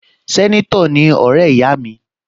Sẹ́nétọ̀ ni ọ̀rẹ́ ìyá mi